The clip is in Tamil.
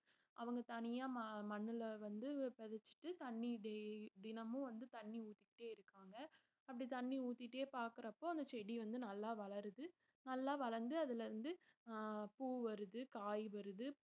அவங்க தனியா ம~ மண்ணுல வந்து பதிச்சுட்டு தண்ணி தி~ தினமும் வந்து தண்ணி ஊத்திக்கிட்டே இருக்காங்க அப்படி தண்ணி ஊத்திட்டே பாக்குறப்போ அந்த செடி வந்து நல்லா வளருது நல்லா வளர்ந்து அதுல இருந்து ஆஹ் பூ வருது காய் வருது